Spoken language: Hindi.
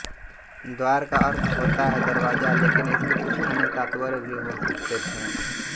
द्वार का अर्थ होता है दरवाज़ा लेकिन इसके कुछ अन्य तात्पर्य भी हो सकते हैं